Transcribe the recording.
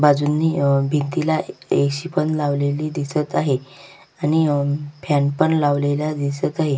बाजूंनी अह भिंतीला ऐ.सी. पण लावलेली दिसत आहे आणि फॅनपण लावलेला दिसत आहे.